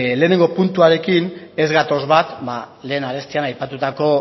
lehenengo puntuarekin ez gatoz bat lehen arestian aipatutako